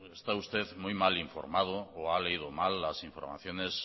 está usted muy mal informado o ha leído mal las informaciones